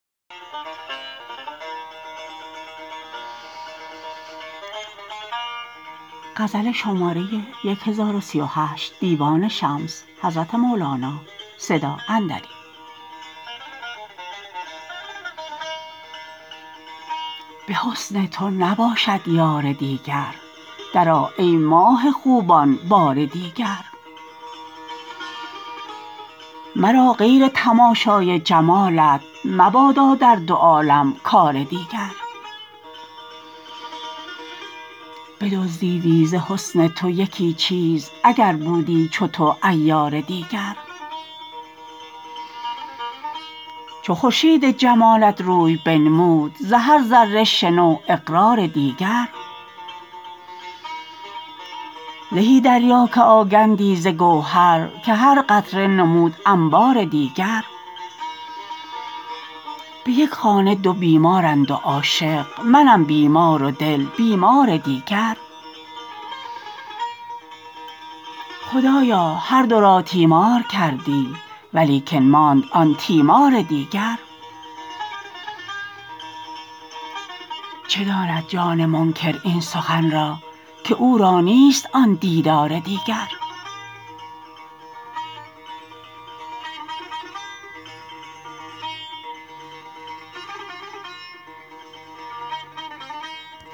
به حسن تو نباشد یار دیگر درآ ای ماه خوبان بار دیگر مرا غیر تماشای جمالت مبادا در دو عالم کار دیگر بدزدیدی ز حسن تو یکی چیز اگر بودی چو تو عیار دیگر چو خورشید جمالت روی بنمود ز هر ذره شنو اقرار دیگر زهی دریا که آگندی ز گوهر که هر قطره نمود انبار دیگر به یک خانه دو بیمارند و عاشق منم بیمار و دل بیمار دیگر خدایا هر دو را تیمار کردی ولیکن ماند آن تیمار دیگر چه داند جان منکر این سخن را که او را نیست آن دیدار دیگر که منکر گفت سنایی خود همینست سنایی گفت نی خروار دیگر بدان خروار تو خروار منگر گشا دو چشم عیسی وار دیگر